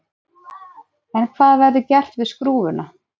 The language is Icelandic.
En hvað verður gert við skrúfuna?